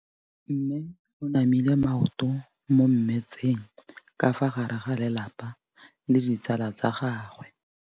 Mme o namile maoto mo mmetseng ka fa gare ga lelapa le ditsala tsa gagwe.